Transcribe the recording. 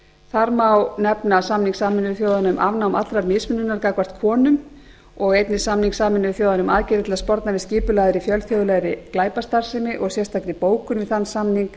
þar má nefna samning sameinuðu þjóðanna um afnám allrar mismununar gagnvart konum og einnig samning sameinuðu þjóðanna um aðgerðir til að sporna við skipulagðri fjölþjóðlegri glæpastarfsemi og sérstakri bókun við þann samning